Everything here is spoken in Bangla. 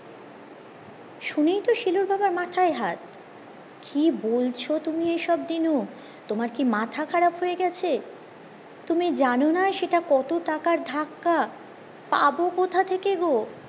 শুনেই তো শিলুর বাবার মাথায় হাত কি বলছো তুমি এইসব দিনু তোমার কি মাথা খারাপ হয়ে গেছে তুমি জানোনা সেটা কত টাকার ধাক্কা পাবো কথা থেকে গো